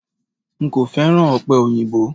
N kò féràn ọ̀pẹ̀ òyìnbó.